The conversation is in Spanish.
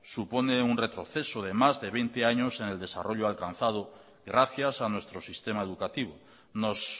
supone un retroceso de más de veinte años en el desarrollo alcanzado gracias a nuestro sistema educativo nos